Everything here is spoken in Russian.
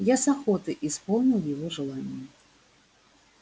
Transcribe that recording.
я с охотой исполнил его желание